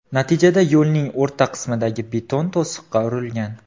Natijada yo‘lning o‘rta qismidagi beton to‘siqqa urilgan.